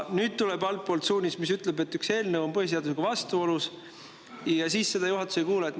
Nüüd tuleb altpoolt suunis, mis ütleb, et üks eelnõu on põhiseadusega vastuolus, aga juhatus seda ei kuula.